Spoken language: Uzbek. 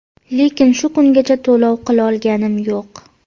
Lekin shu kungacha to‘lov qilolganim yo‘q.